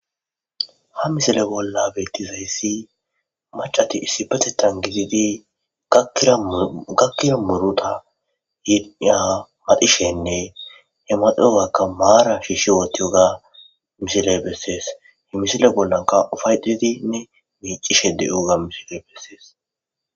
ha misile bolla beettizayssi macati issipatetan gididi gakkira muruta yiniya maxishenne he maxiyogakka maara shishi wootiyoga misiley bessees he misile bollanka ufaydidinne miicishe diyoga misiley bessees